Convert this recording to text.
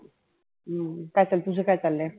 काय चाल तुझ काय चालय?